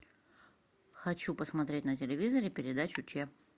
хочу посмотреть на телевизоре передачу че